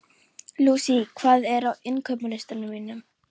Louise, hvað er á innkaupalistanum mínum?